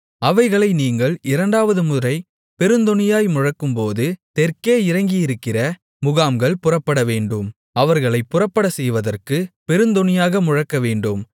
அவைகளை நீங்கள் இரண்டாவது முறை பெருந்தொனியாய் முழக்கும்போது தெற்கே இறங்கியிருக்கிற முகாம்கள் புறப்படவேண்டும் அவர்களைப் புறப்படச்செய்வதற்கு பெருந்தொனியாக முழக்கவேண்டும்